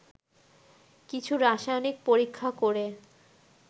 কিছু রাসায়নিক পরীক্ষা করে